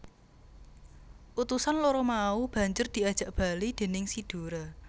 Utusan loro mau banjur diajak bali déning si Dora